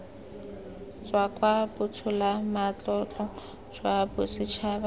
tswa kwa botsholamatlotlong jwa bosetšhaba